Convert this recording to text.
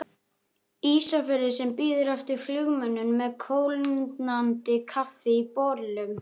Ísafirði sem bíður eftir flugmönnum með kólnandi kaffi í bollum.